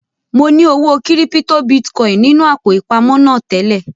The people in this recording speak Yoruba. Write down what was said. Mo ní owó kírípítò bitcoin nínú àpò ìpamọ́ náà tẹ́lẹ̀